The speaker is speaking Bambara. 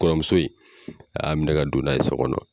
Kɔrɔmuso in, a y'a minɛ ka don n'a ye so kɔnɔ.